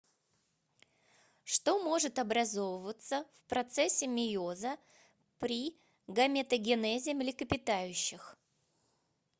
что может образовываться в процессе мейоза при гаметогенезе млекопитающих